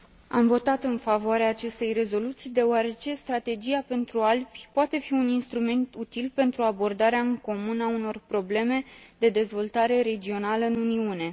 Am votat în favoarea acestei rezoluții deoarece Strategia pentru Alpi poate fi un instrument util pentru abordarea în comun a unor probleme de dezvoltare regională în Uniune.